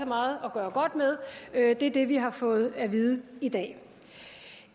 meget at gøre godt med det er det det vi har fået at vide i dag